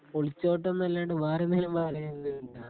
ഒളിച്ചോട്ടന്നല്ലാതെ വേറെന്തെങ്കിലും പറയുന്നുണ്ടോ?